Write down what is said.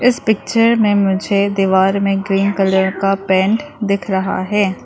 इस पिक्चर में मुझे दीवार में ग्रीन कलर का पेंट दिख रहा है।